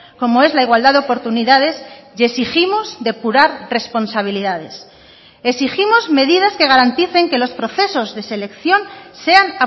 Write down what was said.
como es la igualdad de oportunidades y exigimos depurar responsabilidades exigimos medidas que garanticen que los procesos de selección sean